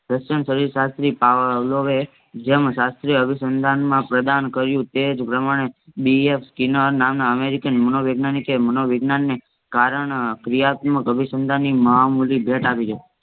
શાસ્ત્રી જેમ શાસ્ત્રી અભિસંતાન પ્રદાન કર્યો તે જ પ્રમાણે BFKinar નામ ના અમેરિકન મનોવિજ્ઞાનિક ને મનોવિજ્ઞાન ને કારણ પ્રિયપરપતિ માં મહામૂળી ભેટ આપી છે